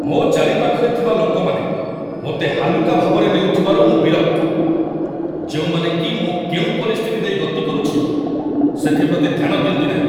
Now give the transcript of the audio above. ମୋ ଚାରିପାଖରେ ଥିବା ଲୋକମାନେ ମୋତେ ହାଲୁକା ଭାବରେ ନେଉଥିବାରୁ ମୁଁ ବିରକ୍ତ, ଯେଉଁମାନେ କି ମୁଁ କେଉଁ ପରିସ୍ଥିତି ଦେଇ ଗତି କରୁଛି ସେଥିପ୍ରତି ଧ୍ୟାନ ଦିଅନ୍ତି ନାହିଁ।